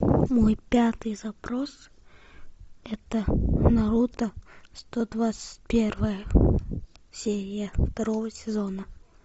мой пятый запрос это наруто сто двадцать первая серия второго сезона